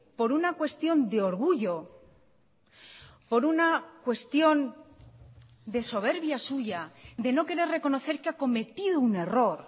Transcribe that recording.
por una cuestión de orgullo por una cuestión de soberbia suya de no querer reconocer que ha cometido un error